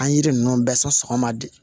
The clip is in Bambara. An yiri ninnu bɛɛ sɔn sɔgɔma de